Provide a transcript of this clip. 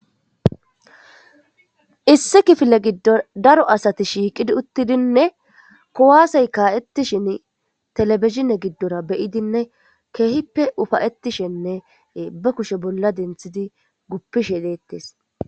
Issi kifile giddor daro asati shiiqidi uttidinne kowaasey kaa7ettishin telebizine giddora beyidinne keehippe ufayetishenne ba kushe bolla denthidi guppishe deettes.